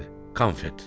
Konfet.